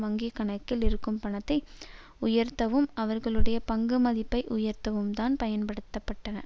வங்கி கணக்குகளில் இருக்கும் பணத்தை உயர்த்தவும் அவர்களுடைய பங்கு மதிப்பை உயர்த்தவும்தான் பயன்படுத்த பட்டன